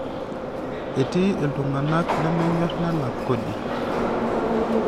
Etii iltung'ana lemenyorr nelak kodi.